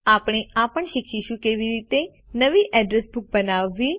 આપણે આ પણ શીખીશું કે કેવી રીતે નવી અડ્રેસ બુક બનાવવી